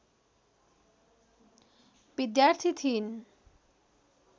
विद्यार्थी थिइन्